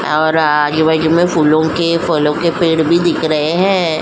और आगे फूलों के फलों के पेड़ भी दिख रहे हैं।